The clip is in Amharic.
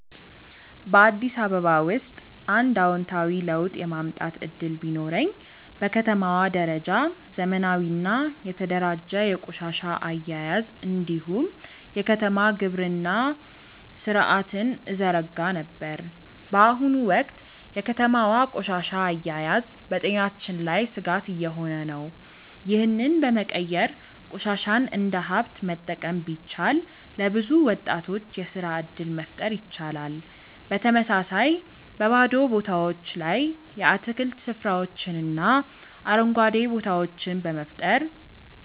በአዲስ አበባ ውስጥ አንድ አዎንታዊ ለውጥ የማምጣት እድል ቢኖረኝ፣ በከተማዋ ደረጃ ዘመናዊና የተደራጀ የቆሻሻ አያያዝ እንዲሁም የከተማ ግብርና ሥርዓትን እዘረጋ ነበር። በአሁኑ ወቅት የከተማዋ ቆሻሻ አያያዝ በጤናችን ላይ ስጋት እየሆነ ነው፤ ይህንን በመቀየር ቆሻሻን እንደ ሀብት መጠቀም ቢቻል፣ ለብዙ ወጣቶች የስራ እድል መፍጠር ይቻላል። በተመሳሳይ፣ በባዶ ቦታዎች ላይ የአትክልት ስፍራዎችንና አረንጓዴ ቦታዎችን በመፍጠር